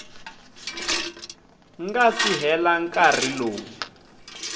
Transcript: nga si hela nkarhi lowu